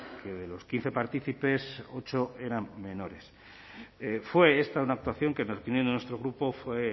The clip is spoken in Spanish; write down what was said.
que de los quince partícipes ocho eran menores fue esta una actuación que en opinión de nuestro grupo fue